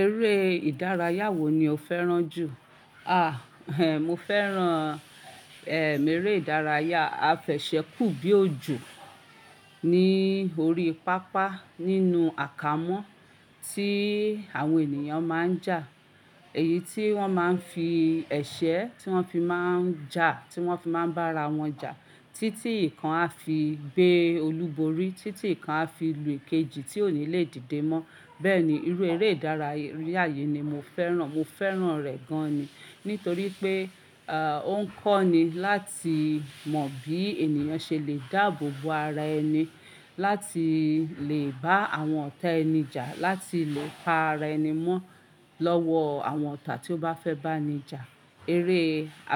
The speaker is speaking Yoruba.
Eré ìdárayá wo ni o fẹ́ràn jù? Mo fẹ́ràn, eré ìdárayá afẹ̀sẹ́ kù bí òjò ní orí pápá nínú àkámọ́ tí àwọn ènìyàn má ń jà. Èyí tí wọ́n máa ń fi ẹ̀sẹ́ tí wọ́n fi má ń jà, tí wọ́n fi má ń bá ara wọn jà títí ìkan á fi gbé olúborí, títí ìkan á fi lù èkejì tí ò ní le dìde mọ́. Bẹ́ẹ̀ ni, irú eré ìdárayá yìí ni mo fẹ́ràn. Mo fẹ́ràn rẹ̀ gan ni nítorí pé, ó ń kọ́ ni láti mọ bí ènìyàn ṣe lè dáàbò bo ara ẹni, láti lè bá àwọn ọ̀tá ẹni jà, láti lè pa ara ẹni mọ́ lọ́wọ́ àwọn ọ̀tá tí ó bá fẹ́ bá ẹni jà. Eré